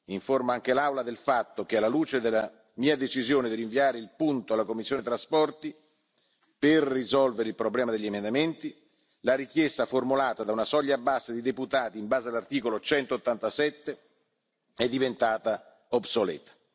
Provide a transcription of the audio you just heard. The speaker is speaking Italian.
Informo anche l'Aula del fatto che, alla luce della mia decisione di rinviare il punto alla commissione TRAN per risolvere il problema degli emendamenti, la richiesta formulata da una soglia bassa di deputati, in base all'articolo 187, è diventata obsoleta.